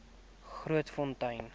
grootfontein